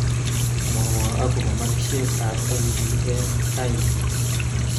Mwowo akobo markishekab N.B.A raini